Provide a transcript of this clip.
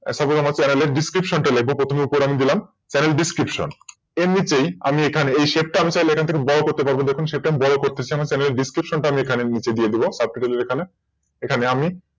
Suppose আমার Channel এর Description টা লিখব প্রথমে উপরে আমি দিলাম ChannelDescription এর নিচেই আমি এখানে এই Shape আমি চাইলে বড় করতে পারবো দেখুন সেটা বড় করতে চান তাহলে Describtion তার নিচে দিয়ে দেব এখানে আমি